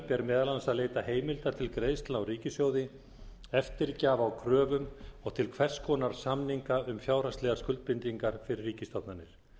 ber meðal annars að leita heimilda til greiðslna úr ríkissjóði eftirgjafa á kröfum og til hvers konar samninga um fjárhagslegar skuldbindingar fyrir ríkisstofnanir